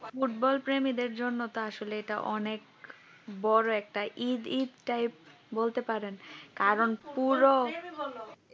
football প্রেমিকের জন্য তার আসলে এটা অনেক বড় একটা ঈদ ঈদ তাই বলতে পারেন কারণ পুরো